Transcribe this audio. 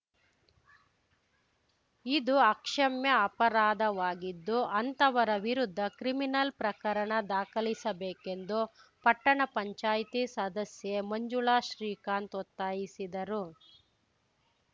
ಇದು ಅಕ್ಷಮ್ಯ ಅಪರಾಧವಾಗಿದ್ದು ಅಂತವರ ವಿರುದ್ಧ ಕ್ರಿಮಿನಲ್‌ ಪ್ರಕರಣ ದಾಖಲಿಸಬೇಕೆಂದು ಪಟ್ಟಣ ಪಂಚಾಯ್ತಿ ಸದಸ್ಯೆ ಮಂಜುಳಾ ಶ್ರೀಕಾಂತ್‌ ಒತ್ತಾಯಿಸಿದರು